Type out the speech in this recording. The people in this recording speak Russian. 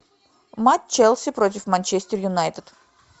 матч челси против манчестер юнайтед